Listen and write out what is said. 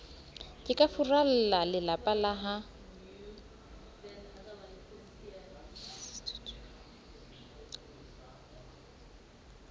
ke ka furallalelapa la ha